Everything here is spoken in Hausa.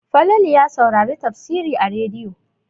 Falalu ya sauri tafsiri a rediyo.